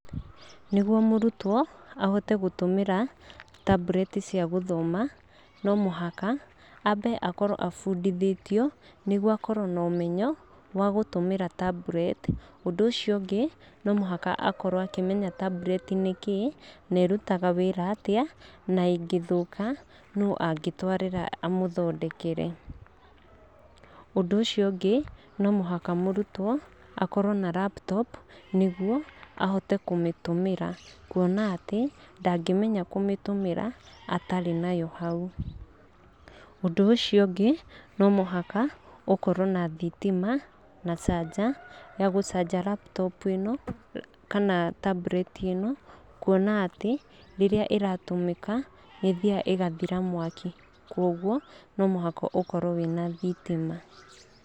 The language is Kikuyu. Nĩguo mũrutwo ahote gũtũmĩra tablet cia gũthoma no mũhaka ambe akorwo abundithitio, nĩguo akorwo na ũmenyo wa gũtũmĩra tablet. Ũndũ ũcio ũngĩ no mũhaka akorwo akĩmenya tablet nĩkĩĩ na ĩrutaga wĩra atĩa na ĩngĩthũka nũ angĩtwarĩra amũthondekere. Ũndũ ũcio ũngĩ, no mũhaka mũrutwo akorwo na laptop nĩguo ahote kũmĩtũmĩra. Kuona atĩ ndangĩmenya kũmĩtũmĩra atarĩ nayo hau. Ũndũ ũcio ũngĩ no mũhaka ũkorwo na thitima na canja ya gũcanji laptop ĩno, kana tablet ĩno. Kuona atĩ rĩrĩa ĩratũmĩka nĩ ĩthiaga na ĩgathira mwaki. Kwoguo no mũhaka ũkorwo wĩna thitima.